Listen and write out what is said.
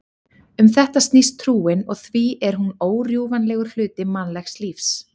Um þetta snýst trúin og því er hún órjúfanlegur hluti mannlegs lífs.